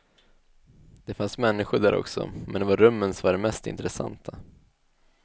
Det fanns människor där också, men det var rummen som var det mest intressanta.